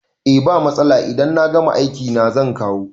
Eh ba matsala idan na gama aiki na zan kawo